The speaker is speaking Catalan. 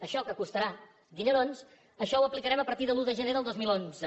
això que costarà dinerons això ho aplicarem a partir de l’un de gener del dos mil onze